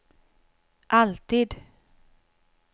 alltid